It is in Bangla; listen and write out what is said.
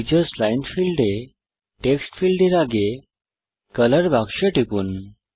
টিচার্স লাইন ফীল্ডে টেক্সট ফীল্ডের আগে কলর বাক্সে টিপুন